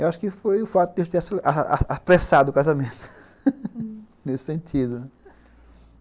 Eu acho que foi o fato de eu ter apressado o casamento, hum, nesse sentido, né.